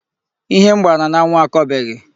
Ihe m gbara n'anwụ akọbeghị